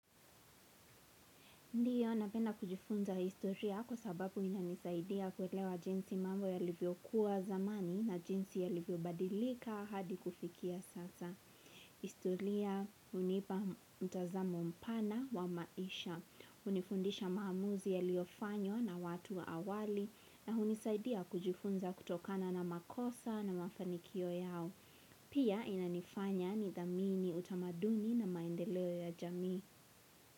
Ndiyo napenda kujifunza historia kwa sababu inanisaidia kuelewa jinsi mambo yalivyokuwa zamani na jinsi yalivyobadilika hadi kufikia sasa. Historia unipa mtazamo mpana wa maisha. Unifundisha maamuzi yaliofanyo na watu wa awali na unisaidia kujifunza kutokana na makosa na mafanikio yao. Pia inanifanya ni dhamini utamaduni na maendeleo ya jami.